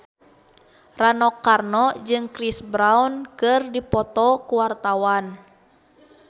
Rano Karno jeung Chris Brown keur dipoto ku wartawan